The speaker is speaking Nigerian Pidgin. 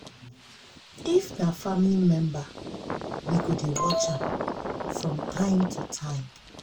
if na family member we go dey watch am um from time to time